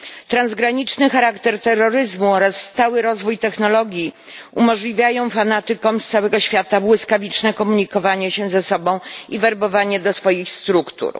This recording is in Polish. Transgraniczny charakter terroryzmu oraz stały rozwój technologii umożliwiają fanatykom z całego świata błyskawiczne komunikowanie się ze sobą i werbowanie do swoich struktur.